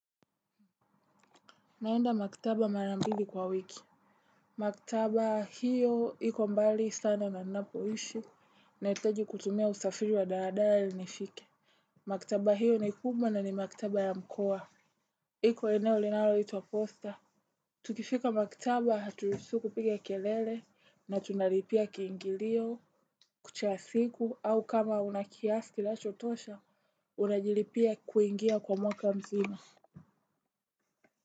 Naenda maktaba marambili kwa wiki. Maktaba hiyo iko mbali sana na ninapoishi nahitaji kutumia usafiri wa daradara ili nifike. Maktaba hiyo ni kubwa na ni maktaba ya mkoa. Iko eneo linaloitwa posta. Tukifika maktaba haturuhusiwi kupiga kelele, na tunalipia kiingilio, kucha ya siku, au kama una kiasi kinachotosha, unajilipia kuingia kwa mwaka mzima.